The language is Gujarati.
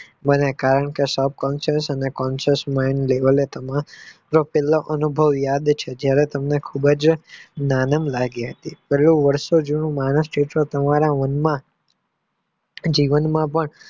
મને અનુભવ યાદ છે જયારે તમને ખુબજ નાણાં લાગે પેલું વારસો જૂનું તમારા મનમાં જીવનમાં પણ